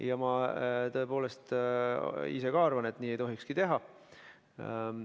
Ka ma ise tõepoolest arvan, et nii ei tohiks teha.